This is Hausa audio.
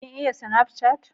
Ka iya sinafcat?